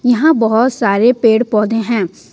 यहां बहोत सारे पेड़ पौधे हैं।